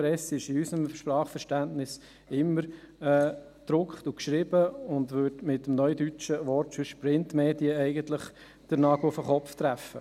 «Presse» ist in unserem Sprachverständnis immer gedruckt und geschrieben und würde mit dem neudeutschen Wort «Printmedien» den Nagel auf den Kopf treffen.